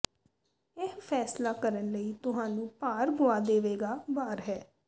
ਇਹ ਫੈਸਲਾ ਕਰਨ ਲਈ ਤੁਹਾਨੂੰ ਭਾਰ ਗੁਆ ਦੇਵੇਗਾ ਵਾਰ ਹੈ